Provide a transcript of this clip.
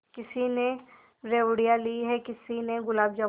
किसी ने रेवड़ियाँ ली हैं किसी ने गुलाब जामुन